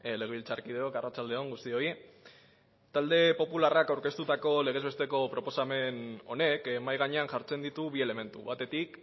legebiltzarkideok arratsalde on guztioi talde popularrak aurkeztutako legez besteko proposamen honek mahai gainean jartzen ditu bi elementu batetik